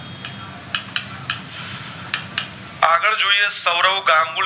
સવરવ ગમબુલે